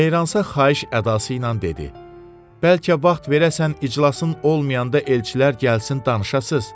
Meyransa xahiş ədası ilə dedi: Bəlkə vaxt verəsən, iclasın olmayanda elçilər gəlsin, danışasız.